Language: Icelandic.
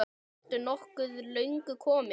Ertu nokkuð löngu kominn?